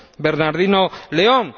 Bernardino León.